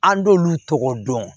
An b'olu tɔgɔ dɔn